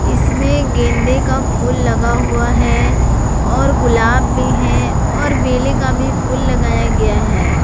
इसमें गेंदे का फूल लगा हुआ है और गुलाब भी हैं और बेले का भी फूल लगाया गया है।